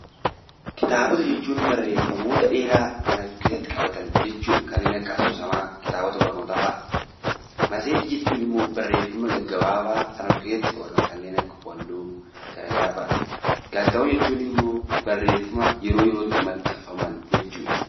Kitaabota jechuun barreeffamoota dheeraa kan of keessatti qabatan jechuudha. Kanneen akka asoosamaa, kitaabota barnootafaadha. Matseetii jechuun ammoo barreeffamoota gaggabaabaa kan of keessatti qabatan kanneen akka walaloo. Gaazexaawwan jechuun ammoo barreeffama yeroo yerootti maxxanfaman jechuudha.